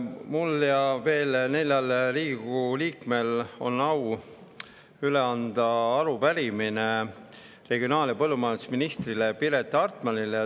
Mul on au üle anda minu ja veel nelja Riigikogu liikme arupärimine regionaal‑ ja põllumajandusminister Piret Hartmanile.